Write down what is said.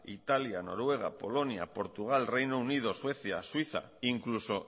italia noruega polonia portugal reino unido suecia suiza incluso